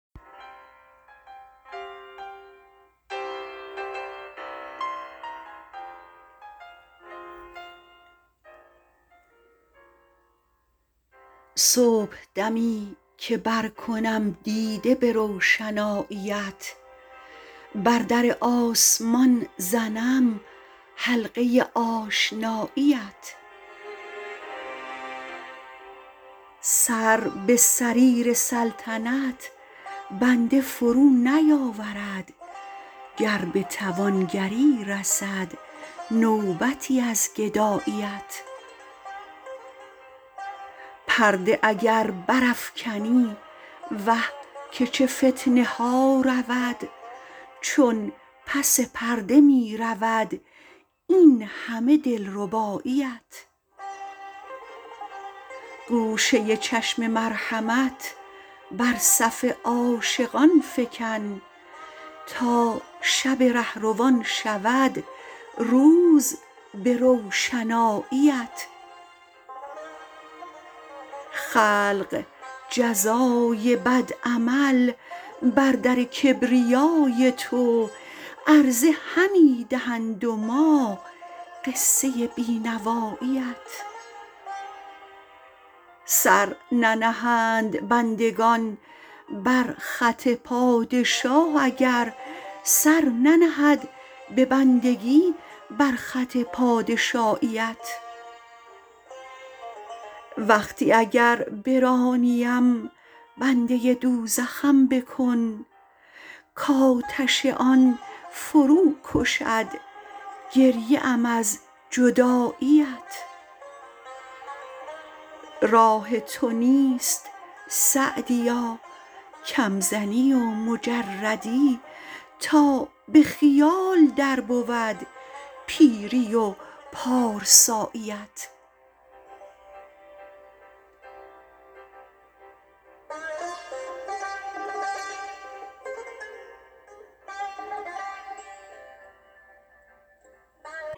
صبحدمی که برکنم دیده به روشناییت بر در آسمان زنم حلقه آشناییت سر به سریر سلطنت بنده فرو نیاورد گر به توانگری رسد نوبتی از گداییت پرده اگر برافکنی وه که چه فتنه ها رود چون پس پرده می رود این همه دلرباییت گوشه چشم مرحمت بر صف عاشقان فکن تا شب رهروان شود روز به روشناییت خلق جزای بد عمل بر در کبریای تو عرضه همی دهند و ما قصه بی نواییت سر ننهند بندگان بر خط پادشاه اگر سر ننهد به بندگی بر خط پادشاییت وقتی اگر برانیم بنده دوزخم بکن کآتش آن فرو کشد گریه ام از جداییت راه تو نیست سعدیا کم زنی و مجردی تا به خیال در بود پیری و پارساییت